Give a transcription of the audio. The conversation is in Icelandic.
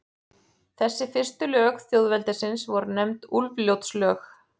Þessi fyrstu lög þjóðveldisins voru nefnd Úlfljótslög.